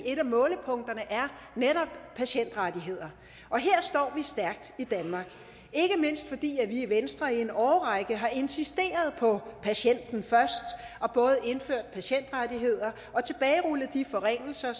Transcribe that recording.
et af målepunkterne netop patientrettigheder her står vi stærkt i danmark ikke mindst fordi vi i venstre i en årrække har insisteret på at sætte patienten først og både indført patientrettigheder og tilbagerullet de forringelser af